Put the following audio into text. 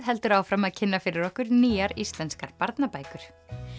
heldur áfram að kynna fyrir okkur nýjar íslenskar barnabækur